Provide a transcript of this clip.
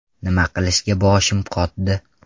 Nima qilishga boshimiz qotdi”.